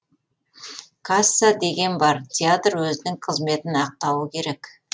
касса деген бар театр өзінің қызметін ақтауы керек